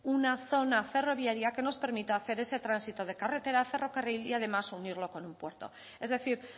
una zona ferroviaria que nos permita hacer ese tránsito de carretera a ferrocarril y además unirlo con un puerto es decir